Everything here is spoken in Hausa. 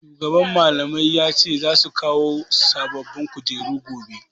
Shugaban Mallamai ya ce za su kawo sababbin kujeru gobe.